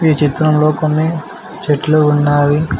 ఈ చిత్రంలో కొన్ని చెట్లు ఉన్నావి.